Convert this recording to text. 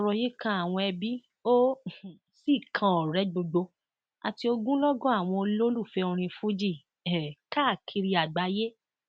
ọrọ yìí kan àwọn ẹbí ó um sì kan ọrẹ gbogbo àti ogumlọgọ àwọn olólùfẹ orin fuji um káàkiri àgbáyé